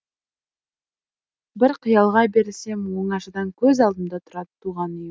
бір қиялға берілсем оңашада көз алдымда тұрады туған үйім